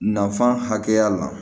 Nafan hakɛya la